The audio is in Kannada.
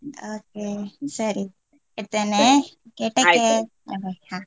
okay ಸರಿ ಇಡ್ತೇನೆ okay take care bye bye ಹಾ.